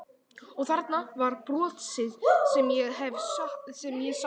Og þarna var brosið sem ég hafði saknað svo sárt.